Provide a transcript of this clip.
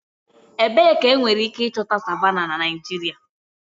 Ebee ka enwere ike ịchọta savannahs na Naịjirịa?